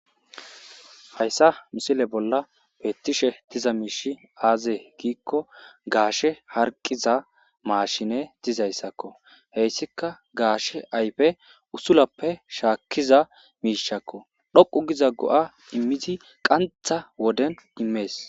hayssa misile bolla beettishe diza miishi aaze giikko gaashe harqiza maashine dizayssakko heyssika gaashe ayfe uttulappe shaakkiza miishakko dhoqu giza go7a immidi qantha woden immees